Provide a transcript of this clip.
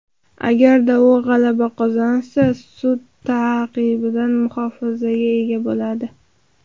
Agarda u g‘alaba qozonsa, sud ta’qibidan muhofazaga ega bo‘ladi.